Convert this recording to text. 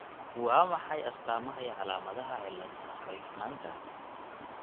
Waa maxay astamaha iyo calaamadaha cilada Roifmanka ?